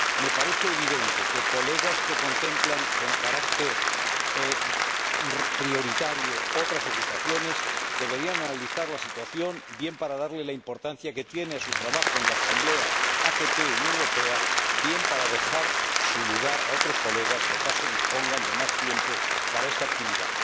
Me parece evidente que colegas que contemplan con carácter prioritario otras ocupaciones, deberían analizar la situación, bien para dar la importancia que tiene a su trabajo en la Asamblea ACP UE, bien para dejar su lugar a otros colegas que acaso dispongan de más tiempo para esta actividad.